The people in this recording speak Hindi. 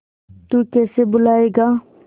तू कैसे भूलाएगा